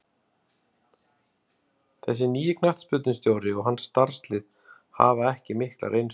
Þessi nýi knattspyrnustjóri og hans starfslið hafa ekki mikla reynslu.